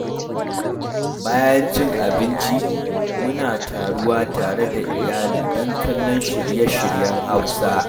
Bayan cin abinci, muna taruwa tare da iyali don kallon shirye-shiryen Hausa.